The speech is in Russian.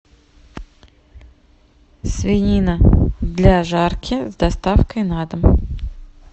свинина для жарки с доставкой на дом